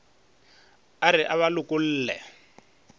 a re a ba lokolle